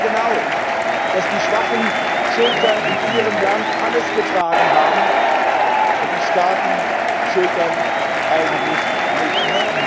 Wir wissen sehr genau, dass die schwachen Schultern in Ihrem Land alles getragen haben und die starken Schultern eigentlich nichts.